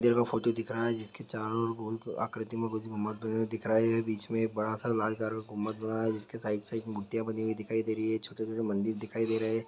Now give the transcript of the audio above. यह जो फोटो दिख रहा है जिसके चारों और गोल आकृति में गोल गुम्बद दिख रहा है ये बीच में बड़ा सा लाल घर में गुम्बद दिख रहा है जिसके साइड साइड में मूर्तिया बनी हुई दिख रही हैं छोटे छोटे मंदिर दिखाई दे--